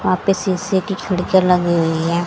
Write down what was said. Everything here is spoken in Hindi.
यहां पर शीशे की खिड़कियां लगी हुई है।